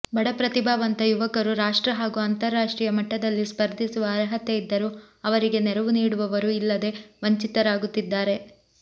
ಬಡ ಪ್ರತಿಭಾವಂತ ಯುವಕರು ರಾಷ್ಟ್ರ ಹಾಗೂ ಅಂತರರಾಷ್ಟ್ರೀಯ ಮಟ್ಟದಲ್ಲಿ ಸ್ಪರ್ಧಿಸುವ ಅರ್ಹತೆ ಇದ್ದರೂ ಅವರಿಗೆ ನೆರವು ನೀಡುವವರು ಇಲ್ಲದೆ ವಂಚಿತರಾಗುತ್ತಿದ್ದಾರೆ